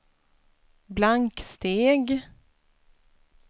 blanksteg